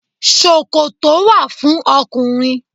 Ṣòkòtò wà fún ọkùnrin.